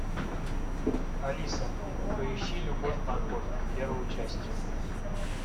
алиса поищи любовь морковь первую часть